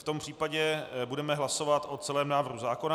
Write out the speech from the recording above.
V tom případě budeme hlasovat o celém návrhu zákona.